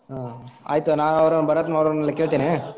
ಹಾ ಆಯ್ತು ನಾವ್ ಅವರನ್ನ ಭರತ್ ನವರನ್ನ ಕೇಳ್ತೀನಿ.